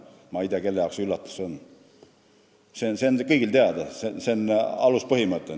Ma ei tea, kelle jaoks see üllatus on – see on kõigile teada, see on aluspõhimõte.